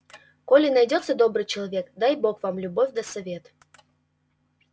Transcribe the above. коли найдётся добрый человек дай бог вам любовь да совет